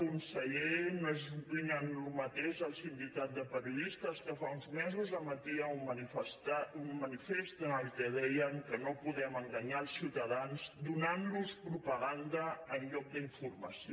conseller no opinen el mateix el sindicat de periodistes que fa uns mesos emetia un manifest en què deien que no podem enganyar els ciutadans donant los propaganda en lloc d’informació